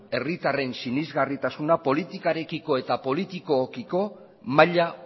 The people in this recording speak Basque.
herritarren sinesgarritasuna politikarekiko eta politikoekiko maila